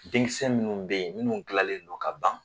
Denkisɛ minnu bɛ yen, minnu dilannen don ka ban